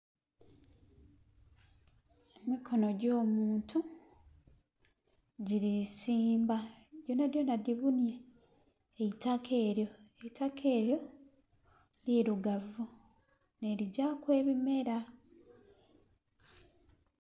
Emikono gyo'muntu giri simba gyonha gyonha gibunhye eitaka eriyo. Eitaka eryo lirugavu nhe ligyaku ebimera.